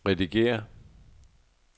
redigér